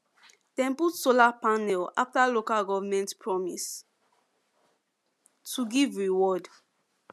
dem put solar panel after local government promise to give reward